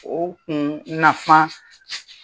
O kun nafa